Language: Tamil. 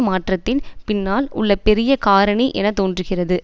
மாற்றத்தின் பின்னால் உள்ள பெரிய காரணி என தோன்றுகிறது